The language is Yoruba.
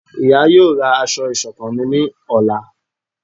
ìyá yóò ra asọ iṣọkan mí ní Ọla